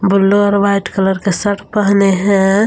Blue और white colour का shirt पहने है।